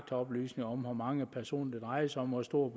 oplysninger om hvor mange personer det drejer sig om hvor stort